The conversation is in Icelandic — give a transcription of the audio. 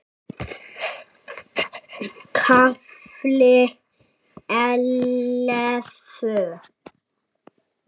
KAFLI ELLEFU